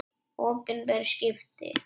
Opinber skipti.